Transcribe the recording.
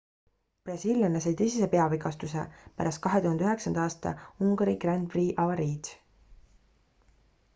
brasiillane sai tõsise peavigastuse pärast 2009 aasta ungari grand prix'i avariid